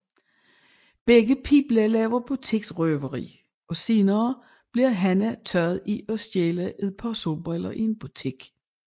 Begge piger laver butiksrøveri og senere bliver Hanna taget i at stjæle et par solbriller i en butik